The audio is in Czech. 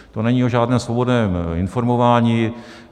To není o žádném svobodném informování.